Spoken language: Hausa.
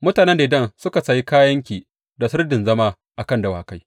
Mutanen Dedan sun sayi kayanki da sirdin zama a kan dawakai.